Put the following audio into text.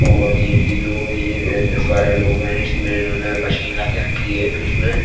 और ये एक ही लोग है ये दस बारह लोग हैं और इसमें इन्होने मशीन ला कर रखी है इसमें --